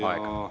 Aeg!